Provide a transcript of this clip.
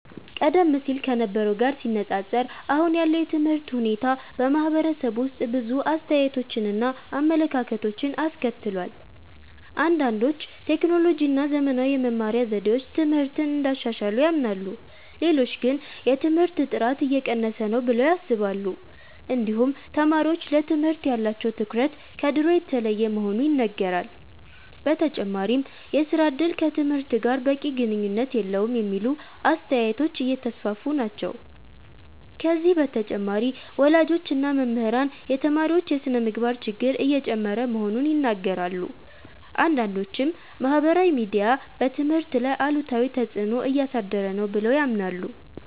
ቀደም ሲል ከነበረው ጋር ሲነፃፀር አሁን ያለው የትምህርት ሁኔታ በማህበረሰቡ ውስጥ ብዙ አስተያየቶችን እና አመለካከቶችን አስከትሏል። አንዳንዶች ቴክኖሎጂ እና ዘመናዊ የመማሪያ ዘዴዎች ትምህርትን እንዳሻሻሉ ያምናሉ። ሌሎች ግን የትምህርት ጥራት እየቀነሰ ነው ብለው ያስባሉ። እንዲሁም ተማሪዎች ለትምህርት ያላቸው ትኩረት ከድሮ የተለየ መሆኑ ይነገራል። በተጨማሪም የሥራ እድል ከትምህርት ጋር በቂ ግንኙነት የለውም የሚሉ አስተያየቶች እየተስፋፉ ናቸው። ከዚህ በተጨማሪ ወላጆች እና መምህራን የተማሪዎች የስነ-ምግባር ችግር እየጨመረ መሆኑን ይናገራሉ። አንዳንዶችም ማህበራዊ ሚዲያ በትምህርት ላይ አሉታዊ ተፅዕኖ እያሳደረ ነው ብለው ያምናሉ።